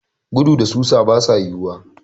Gudu da susa basu yiwuwa.